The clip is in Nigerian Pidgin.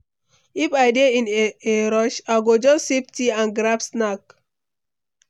If I dey in a rush, I go just sip tea and grab snack.